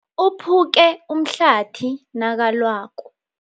Uphuke umhlathi nakalwako.